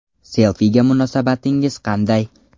Selfiga munosabatingiz qanday?